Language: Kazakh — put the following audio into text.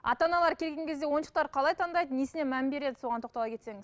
ата аналар келген кезде ойыншықтар қалай таңдайды несіне мән береді соған тоқтала кетсеңіз